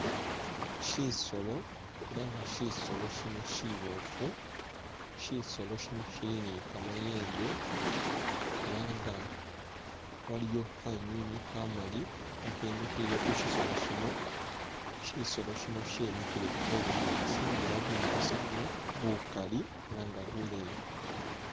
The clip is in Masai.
Shisolo, ela nga shisolo shino shiboofu, shisolo shino shili ni kamayembe ela nga waliyo khanywinywi khamali khakhemile khushisolo shino shisolo shino shemikhile mubunyaasi nga elah bunyaasi buno bukali ela nga buleyi